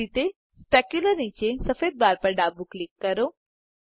એ જ રીતે સ્પેક્યુલર નીચે સફેદ બાર પર ડાબું ક્લિક કરો